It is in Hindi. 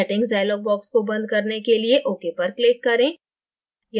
settingsडायलोग box को बंद करने के लिए okपर click करें